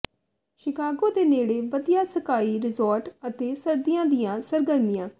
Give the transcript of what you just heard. Chicago ਦੇ ਨੇੜੇ ਵਧੀਆ ਸਕਾਈ ਰਿਜੋਰਟਸ ਅਤੇ ਸਰਦੀਆਂ ਦੀਆਂ ਸਰਗਰਮੀਆਂ